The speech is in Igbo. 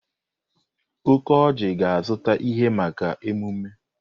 Okoji ga-azụta ihe maka emume.